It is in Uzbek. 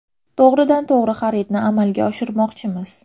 To‘g‘ridan to‘g‘ri xaridni amalga oshirmoqchimiz?